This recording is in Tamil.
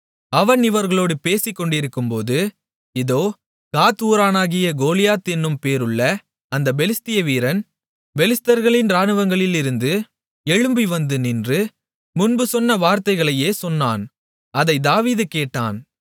அவன் இவர்களோடு பேசிக்கொண்டிருக்கும்போது இதோ காத் ஊரானாகிய கோலியாத் என்னும் பேருள்ள அந்தப் பெலிஸ்திய வீரன் பெலிஸ்தர்களின் இராணுவங்களிலிருந்து எழும்பிவந்து நின்று முன்பு சொன்ன வார்த்தைகளையே சொன்னான் அதைத் தாவீது கேட்டான்